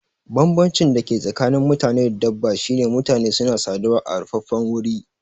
Banbancin da ke tsakanin mutane da dabba shine mutane suna saduwa a rufaffen wuri